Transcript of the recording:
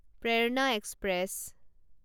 প্ৰেৰণা এক্সপ্ৰেছ